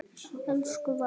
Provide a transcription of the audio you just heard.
Elsku Valdís.